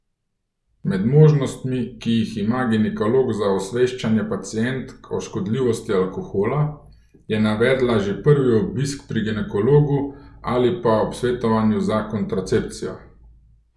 Med možnostmi, ki jih ima ginekolog za osveščanje pacientk o škodljivosti alkohola, je navedla že prvi obisk pri ginekologu ali pa ob svetovanju za kontracepcijo.